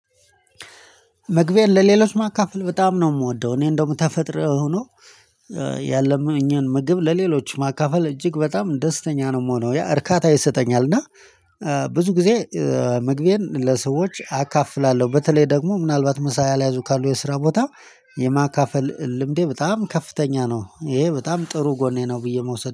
መግቤን ለሌሎች ማካፈል በጣም ነው ምወደው እኔ እንደውም ተፈጥሮ ሆኖ። ያለኝንም ምግብ ለሌሎች ማካፈል እጅግ በጣም ደስተኛ ነው የምሆነው ያ እርካታ ይሰጠኛል እና ብዙ ጊዜ ምግቤን ለሰዎች አካፍላለሁ። በተለይ ደግሞ ምናልባት ምሳ ያልያዙ ካሉ የስራ ቦታ የማካፈል ልምዴ በጣም ከፍተኛ ነው። ይሄ በጣም ጥሩ ጎኔ ነው። ብዬ መውሰድ